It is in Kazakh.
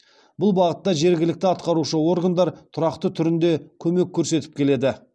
бұл бағытта жергілікті атқарушы органдар тұрақты түрінде көмек көрсетіп келеді